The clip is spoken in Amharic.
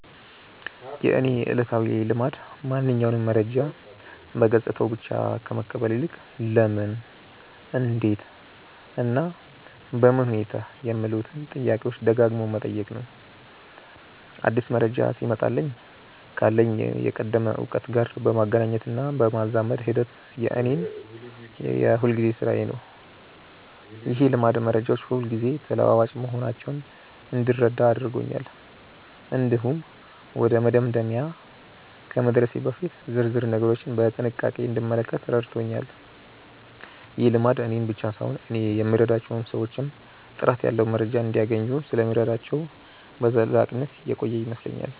የእኔ ዕለታዊ ልማድ ማንኛውንም መረጃ በገጽታው ብቻ ከመቀበል ይልቅ "ለምን? እንዴት? እና በምን ሁኔታ" የሚሉትን ጥያቄዎች ደጋግሞ መጠየቅ ነው። አዲስ መረጃ ሲመጣልኝ ካለኝ የቀደመ እውቀት ጋር የማገናኘትና የማዛመድ ሂደት የእኔ የሁልጊዜ ሥራዬ ነው። ይህ ልማድ መረጃዎች ሁልጊዜ ተለዋዋጭ መሆናቸውን እንድረዳ አድርጎኛል። እንዲሁም ወደ መደምደሚያ ከመድረሴ በፊት ዝርዝር ነገሮችን በጥንቃቄ እንድመለከት ረድቶኛል። ይህ ልማድ እኔን ብቻ ሳይሆን እኔ የምረዳቸውን ሰዎችም ጥራት ያለው መረጃ እንዲያገኙ ስለሚረዳቸው በዘላቂነት የቆየ ይመስለኛል።